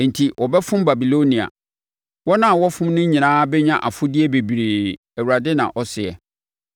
Enti wɔbɛfom Babilonia; wɔn a wɔfom no nyinaa bɛnya afodeɛ bebree,” Awurade na ɔseɛ.